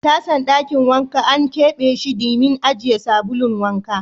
Tasan Dakin wanka an kebe she dimin ajiye sabulun wanka.